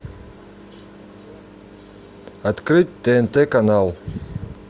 открыть тнт канал